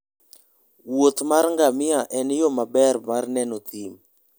wuoth mar ngamia en yo maber mar neno thim.